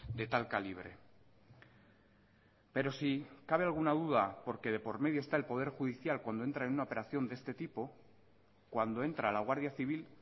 de tal calibre pero si cabe alguna duda porque de por medio esta el poder judicial cuando entra en una operación de este tipo cuando entra la guardia civil